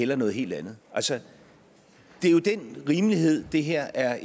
vil noget helt andet altså det er jo den rimelighed det her er